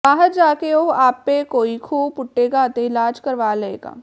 ਬਾਹਰ ਜਾ ਕੇ ਉਹ ਆਪੇ ਕੋਈ ਖੂਹ ਪੁੱਟੇਗਾ ਅਤੇ ਇਲਾਜ ਕਰਵਾ ਲਏਗਾ